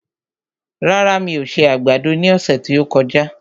Rárá, mi ò se àgbàdo ní ọ̀sẹ̀ tí ó kọjá